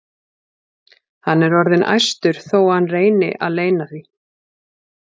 Hann er orðinn æstur þó að hann reyni að leyna því.